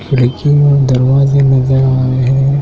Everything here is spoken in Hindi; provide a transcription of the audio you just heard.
खिड़कियां दरवाजे नजर आ रहे हैं।